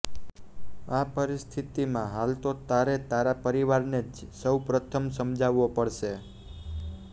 આ પરિસ્થિતિમાં હાલ તો તારે તારા પરિવારને જ સૌપ્રથમ સમજાવવો પડશે